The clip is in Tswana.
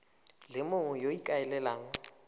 le mongwe yo o ikaelelang